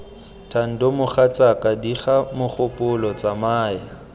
thando mogatsaka diga mogopolo tsamaya